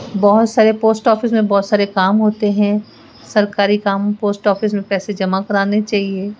बहोत सारे post office में बहोत सारे काम होते हैं सरकारी काम पोस्ट ऑफिस में पैसे जमा कराने चाहिए।